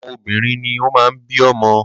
Àwọn obìnrin ni o máa ń bí ọmọ.